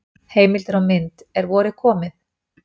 Heimildir og mynd: Er vorið komið?